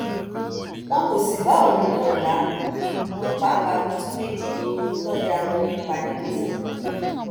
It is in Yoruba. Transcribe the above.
wọn kò sì bá òun náà láàbò òun pàápàá pitú méje tòde akọni ń pa nígbó fún wọn